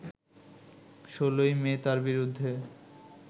১৬ই মে তার বিরুদ্ধে